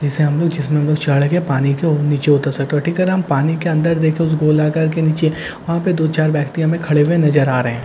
जैसे हम लोग जिसमें लो चढ़ के पानी के और नीचे उतर सकते हो ठीक है न हम पानी के अंदर देखे उस गोलाकार के नीचे वहां पे दो चार व्‍यक्ति हमें खड़े हुए नजर आ रहे हैं ।